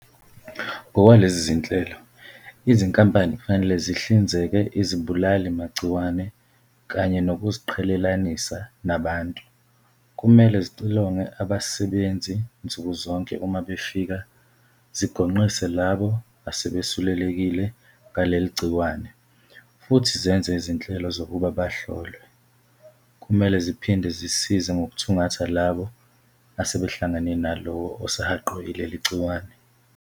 Ngokwalezi zinhlelo, izinkampani kufanele zihlinzeke izibulalimagciwane kanye nokuziqhelelanisa nabantu, kumele zixilonge abasebenzi nsuku zonke uma befika, zigonqise labo asebesulelekile ngaleli gciwane futhi zenze izinhlelo zokuba bahlolwe. "Kumele ziphinde zisize ngokuthungatha labo asebehlangane nalowo osehaqwe yileli gciwane."